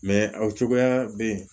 aw cogoya bɛ yen